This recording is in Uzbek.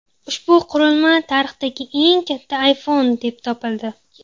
Ushbu qurilma tarixdagi eng katta iPhone deb topildi.